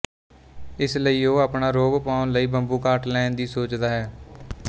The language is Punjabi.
ਇਸਲਈ ਉਹ ਆਪਣਾ ਰੋਹਬ ਪੁਗਾਉਣ ਲਈ ਬੰਬੂਕਾਟ ਲੈਣ ਦੀ ਸੋਚਦਾ ਹੈ